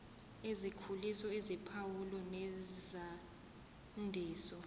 ezikhuliso eziphawulo nezandiso